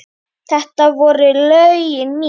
Þetta voru lögin mín.